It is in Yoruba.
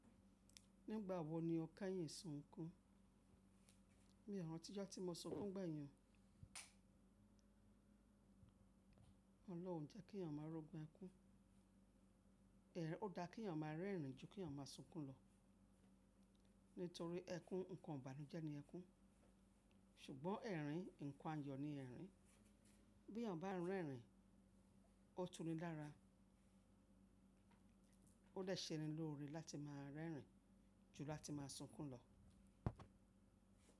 Nígbà wo ni ọke yín sunkún? Mi ọ ran tí ijọ́ tí mo sọ kún gbeyin. Ọlọ́run jẹ́ kí ẹ̀niyàn máa rọgun ẹkún. Ó dá kí ẹ̀niyàn máa rẹ́rìn ju kí ẹ̀niyàn máa sunkún lọ. Nítorí ẹkún nǹkan ibànújẹ́ ni ẹkún. Ṣùgbọ́n ẹ̀rìn nǹkan ayọ̀ ni ẹ̀rìn. Bí ẹ̀niyàn bá ń rẹ́rìn, ó túnni lára. Ó de sẹ ni lóore láti máa rẹ́rìn ju láti máa sunkún lọ.